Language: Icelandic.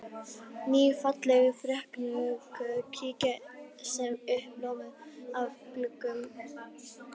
Ný, falleg ferköntuð kirkja sem er uppljómuð af gluggum